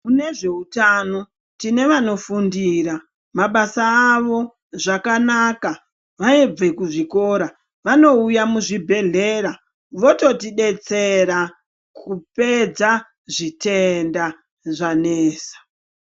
Mune zveutano tine vanofundira mabasa avo zvakanaka vaibve kuzvikora vanouya muzvibhedhlera vototidetsera kupedza zvitenda zvanesa.